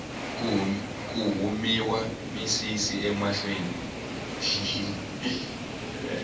ku humiwa misisi emahlweni